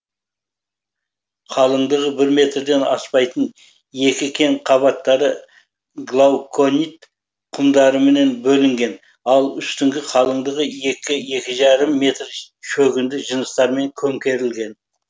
қалыңдығы бір метрден аспайтын екі кен қабаттары глауконит құмдармен бөлінген ал үстінің қалыңдығы екі екі жарым метр шөгінді жыныстармен көмкерілген